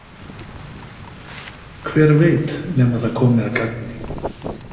Hver veit nema það komi að gagni?